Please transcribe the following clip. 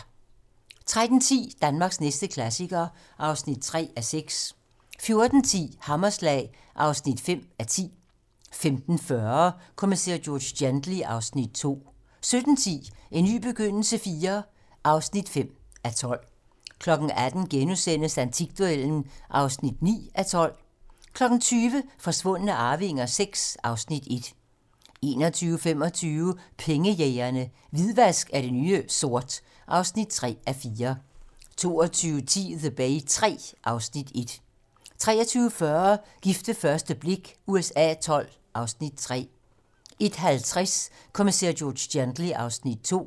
13:10: Danmarks næste klassiker (3:6) 14:10: Hammerslag (5:10) 15:40: Kommissær George Gently (Afs. 2) 17:10: En ny begyndelse IV (5:12) 18:00: Antikduellen (9:12)* 20:00: Forsvundne arvinger VI (Afs. 1) 21:25: Pengejægerne - Hvidvask er det nye sort (3:4) 22:10: The Bay III (Afs. 1) 23:40: Gift ved første blik USA XII (Afs. 3) 01:50: Kommissær George Gently (Afs. 2)